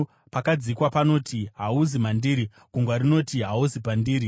Pakadzika panoti, ‘Hahuzi mandiri.’ Gungwa rinoti, ‘Hahuzi pandiri.’